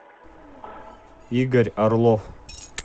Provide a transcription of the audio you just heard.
игорь орлов